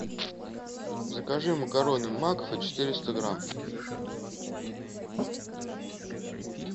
закажи макароны макфа четыреста грамм